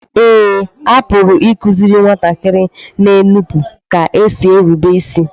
Eé, a pụrụ ịkụziri nwatakịrị na-enupụ ka e si erube isi